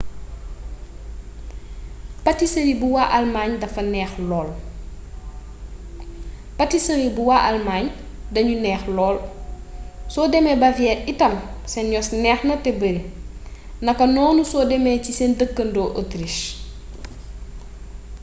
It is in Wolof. patisëri bu waa almaañ dañu neex lool soo demee bavière itam seen yos neexna te bari nakanoonu soo demee ci seen dëkkandoo autriche